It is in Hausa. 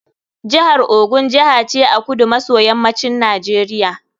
Jihar Ogun Jiha ce a kudu maso yammacin Najeriya.